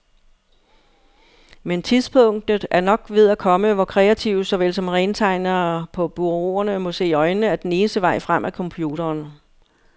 Men tidspunktet er nok ved at komme, hvor kreative såvel som rentegnere på bureauerne må se i øjnene, at den eneste vej frem er computeren.